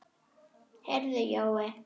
Heyrðu Jói.